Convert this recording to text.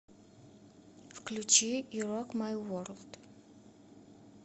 включи ю рок май ворлд